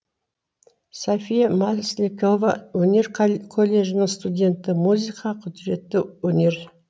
софия масликова өнер колледжінің студенті музыка құдіретті өнер